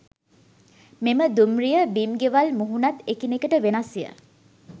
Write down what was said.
මෙම දුම්රිය බිම් ගෙවල් මුහුණත් එකිනෙකට වෙනස්ය.